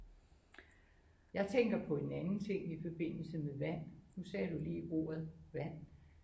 Jeg tænker på en anden ting i forbindelse med vand nu sagde du lige ordet vand